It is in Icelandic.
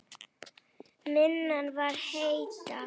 Minna var hetja.